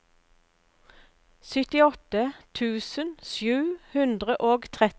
syttiåtte tusen sju hundre og trettito